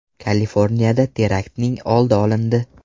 Kaliforniyada teraktning oldi olindi.